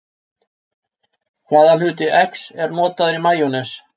Hvaða hluti eggs er notaður í majónes?